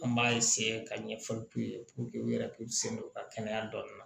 An b'a ka ɲɛfɔli k'u ye u yɛrɛ k'u sen don u ka kɛnɛya dɔnni na